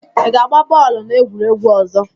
Ị ga-agba bọọlụ n'egwuregwu ọzọ?